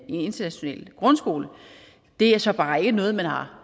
international grundskole det er så bare ikke noget man har